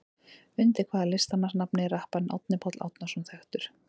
Undir hvaða listamannsnafni er rapparinn Árni Páll Árnason þekktur?